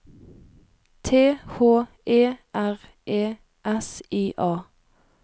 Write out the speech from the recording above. T H E R E S I A